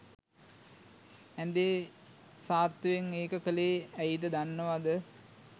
ඇ‍ඳේ සාත්තුවෙන් ඒක කලේ ඇයි ද දන්නවද